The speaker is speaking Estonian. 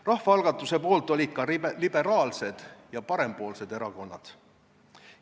Rahvaalgatuse poolt olid ka liberaalsed ja parempoolsed erakonnad.